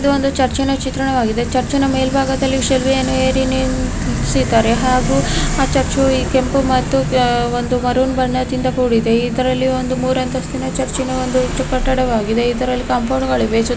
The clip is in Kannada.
ಇದು ಒಂದು ಚರ್ಚಿನ ಚಿತ್ರಣವಾಗಿದೆ ಚರ್ಚಿನ ಮೆಲ್ಬಾಗದಲ್ಲಿ ಏರಿ ನಿಲ್ಸಿದಾರೆ ಹಾಗೂ ಆ ಚರ್ಚಾ ಈ ಕೆಂಪು ಮತ್ತು ಒಂದು ಮರುನ್ ಬಣ್ಣದಿಂದ ಕೂಡಿದೆ ಇದರಲ್ಲಿ ಒಂದು ಮುರಂಥಸ್ತಿನ ಚರ್ಚಿನ ಒಂದು ಕಟ್ಟಡವಾಗಿದೆ ಇದರಲ್ಲಿ ಕಾಂಪೌಂಡ್ಗಳಿವೆ. __